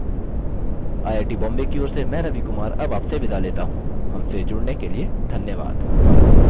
I I T Bombay की ओर से मैं रवि कुमार अब आप से विदा लेता हूँ हमसे जुड़ने के लिए धन्यवाद